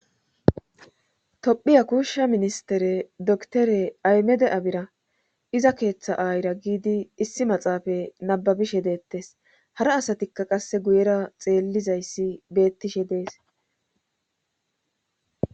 tophiya kuushsha ministere doktore aymede7abira iza keeththa aayira giidi issi maxaafa nababishe deettes hara asatikka qasse guyera xeellizayssi bettishe dees